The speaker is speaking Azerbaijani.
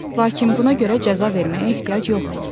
Lakin buna görə cəza verməyə ehtiyac yoxdur.